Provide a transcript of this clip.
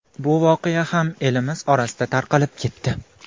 Bu voqea ham elimiz orasida tarqalib ketdi.